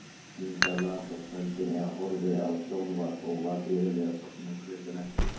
Inga las á kvöldin eða horfði á sjónvarp og var iðulega sofnuð klukkan ellefu.